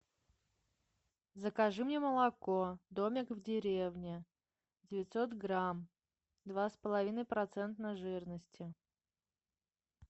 закажи мне молоко домик в деревне девятьсот грамм два с половиной процента жирности